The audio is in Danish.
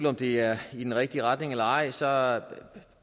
om det er i den rigtige retning eller ej så er